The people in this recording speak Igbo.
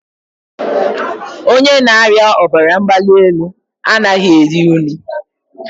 onye na-arịa ọbara mgbali elu anaghị eri nnu.